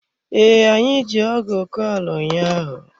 Ee, anyị ji ọgụ kọọ ala ụnyaahụ.